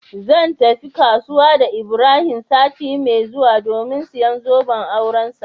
Zan tafi kasuwa da ibrahim sati mai zuwa domin siyan zoben aurensa.